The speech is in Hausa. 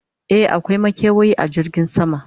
e akwai makewayi a jirgin sama